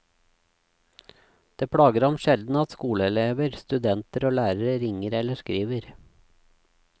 Det plager ham sjelden at skoleelever, studenter og lærere ringer eller skriver.